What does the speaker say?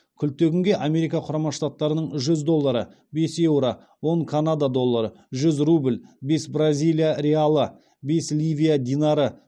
күлтегінге америка құрама штаттарының жүз доллары бес еуро он канада доллары жүз рубль бес бразилия реалы бес ливия динары